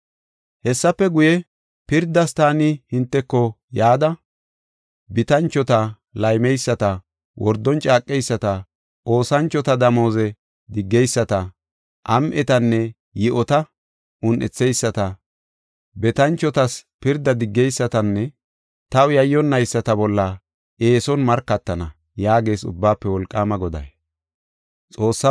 “Hessafe guye, pirdas taani hinteko yada, bitanchota, laammeyisata, wordon caaqeyisata, oosanchota damooze diggeyisata, am7etanne yi7ota un7etheyisata, betanchotas pirda diggeysatanne taw yayyonnayisata bolla eeson markatana” yaagees Ubbaafe Wolqaama Goday.